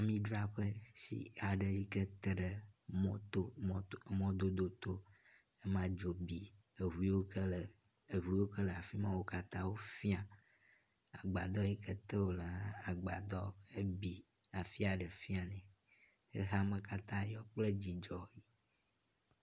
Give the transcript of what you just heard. Amidzraƒe si aɖe yi ke teƒe mɔto mɔto mɔdodoto. Ame dzo eŋu yiwo ke le eŋu yiwo ke le afi ma wo katã fia. Agbadɔ yi ke te wo le hã agbadɔ ebi afi aɖɖ fia nɛ. Xexeame katã yɔ kpe dzidzɔ.